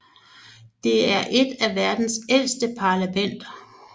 Det er et af verdens ældste parlamenter